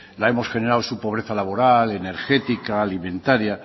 la hemos generado su pobreza laboral energética alimentaria